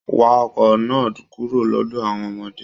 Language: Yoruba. Wá ọkọ náà kúrò lọdọ àwọn ọmọdé!